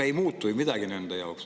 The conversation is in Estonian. Ei muutu ju midagi nende inimeste jaoks.